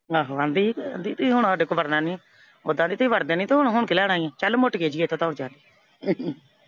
ਆਹੋ ਆਂਹਦੀ ਸੀ, ਕਹਿੰਦੀ ਤੀ ਹੁਣ ਸਾਡੇ ਤੂੰ ਵੜਨਾ ਨਈਂ। ਓਦਾਂ ਤੁਸੀਂ ਵੜਦੇ ਨੀ ਸੀ ਤੇ ਹੁਣ ਹੁਣ ਕੀ ਲੈਣ ਆਈਂ ਏਂ। ਚੱਲ ਮੋਟੀਏ ਜਿਹੀਐ ਇੱਥੋਂ ਦੌੜ ਜਾ ਕੇ